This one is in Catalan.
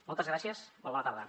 moltes gràcies molt bona tarda